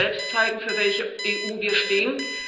Wir müssen selbst zeigen, für welche EU wir stehen.